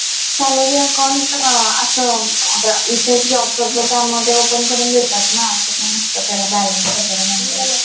salary account असं आता इथे job करतो त्यामध्ये open करून देतात ना असं काही नसतं त्याला balance वैगरे maintain